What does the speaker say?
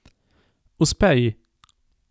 Uspe ji.